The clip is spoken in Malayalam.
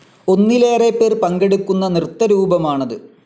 ഒന്നിലേറെ പേർ പങ്കെടുക്കുന്ന നൃത്തരൂപമാണത്.